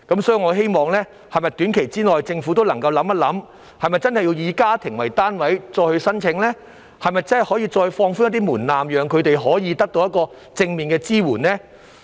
所以，我希望政府能夠想一想，短期內是否應繼續以家庭為單位提出申請呢？是否可以再放寬一點門檻，讓他們得到正面的支援呢？